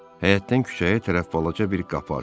Həyətdən küçəyə tərəf balaca bir qapı açılıb.